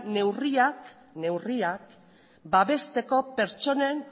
neurriak babesteko pertsonen